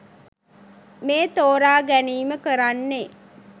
මේ තෝරා ගැනීම කරන්නේ.